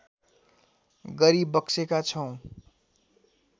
गरिबक्सेका छौँ